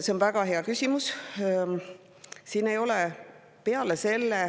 See on väga hea küsimus.